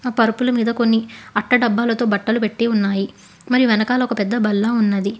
పరుపులు మీద కొన్ని అట్ట డబ్బాలతో బట్టలు పెట్టి ఉన్నాయి మరి వెనకాల ఒక పెద్ద బల్ల ఉన్నది.